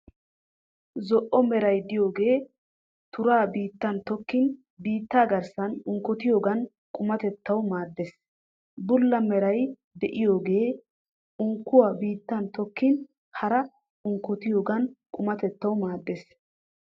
Zo'o meray de'iyoogee turaa biittan tokkin biitta garssan unkkotiyogan qumatettawu maaddeees. Bulla meray de'iyoogee unkkuuwa biittan tokkin haraa unkkotiyogan qumatettawu maaddeees.